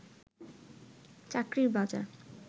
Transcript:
চাকরির বাজার